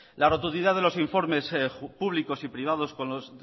la rotundidad de los informes públicos y privados con los